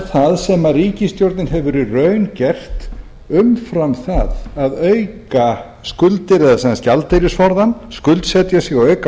það sem ríkisstjórnin hefur í raun gert umfram það að auka skuldir eða sem sagt gjaldeyrisforðann skuldsetja sig og auka